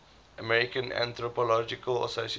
american anthropological association